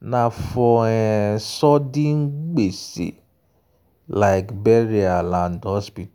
na for um sudden gbese like burial and hospital.